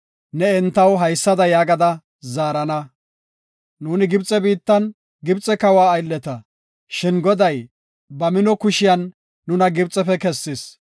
ne entaw haysada yaagada zaarana; “Nuuni Gibxe biittan Gibxe kawa aylleta, shin Goday ba mino kushiyan nuna Gibxefe kessis.